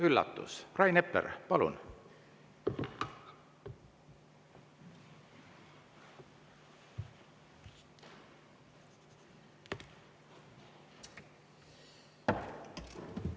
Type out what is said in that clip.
Üllatus: Rain Epler, palun!